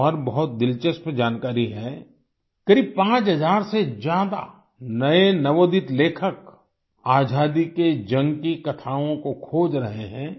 एक और बहुत दिलचस्प जानकारी है करीब 5000 से ज्यादा नए नवोदित लेखक आज़ादी के जंग की कथाओं को खोज रहे हैं